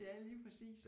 Ja lige præcis